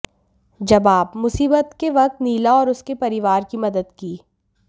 जबाबः मुसीबत के वक्त नीला और उसके परिवार की मदद की